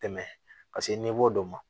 Tɛmɛ paseke dɔ ma